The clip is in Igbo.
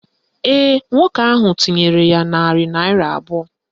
Ee, nwoke ahụ tinyere ya narị naịra abụọ